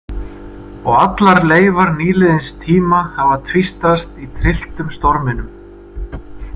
Og allar leifar nýliðins tíma hafa tvístrast í trylltum storminum.